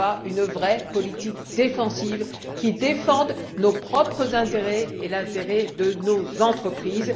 d'une vraie politique défensive, qui protège nos propres intérêts et l'intérêt de nos entreprises.